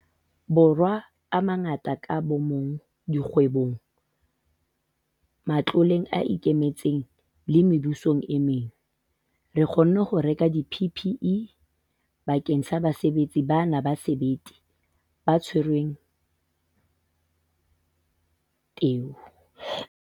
Borwa a mangata ka bomong, dikgwebong, matloleng a ikemetseng le mebusong e meng, re kgonne ho reka di-PPE bakeng sa basebetsi bana ba sebete ba tshwereng teu.